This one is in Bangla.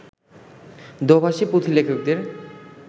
দো-ভাষী পুঁথিলেখকদের